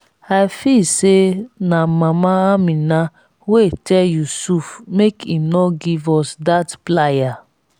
i feel say na mama amina wey tell yusuf make im no give us dat plier